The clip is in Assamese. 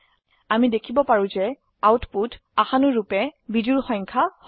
আমি দেখিব পাৰো যে আউটপুট আশানুৰুপে বিজোড় সংখ্যা হয়